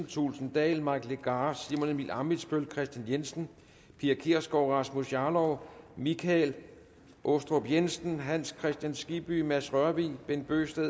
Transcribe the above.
thulesen dahl mike legarth simon emil ammitzbøll kristian jensen pia kjærsgaard rasmus jarlov michael aastrup jensen hans kristian skibby mads rørvig bent bøgsted